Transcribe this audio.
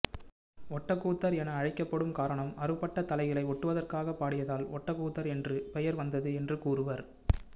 ஒட்டக்கூத்தர் என அழைக்கப்படும் காரணம் அறுபட்ட தலைகளை ஒட்டுவதற்காக பாடியதால் ஒட்டக்கூத்தர் என்று பெயர் வந்தது என்று கூறுவர்